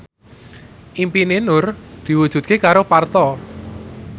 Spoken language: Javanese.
impine Nur diwujudke karo Parto